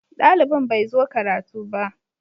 Dalibin bai zo karatu ba.